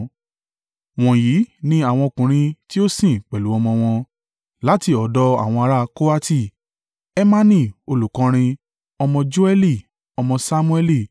Wọ̀nyí ni àwọn ọkùnrin tí ó sìn pẹ̀lú ọmọ wọn. Láti ọ̀dọ̀ àwọn ará Kohati: Hemani olùkọrin, ọmọ Joẹli, ọmọ Samuẹli,